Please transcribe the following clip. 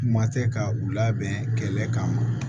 Kuma tɛ ka u labɛn kɛlɛ kan